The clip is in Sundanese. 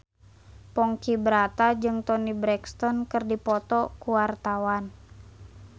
Ponky Brata jeung Toni Brexton keur dipoto ku wartawan